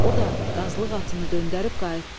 O da qazlıq atını döndərib qayıtdı.